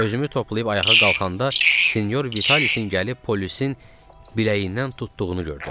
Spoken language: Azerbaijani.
Özümü toplayıb ayağa qalxanda Sinyor Vitalisin gəlib polisin biləyindən tutduğunu gördüm.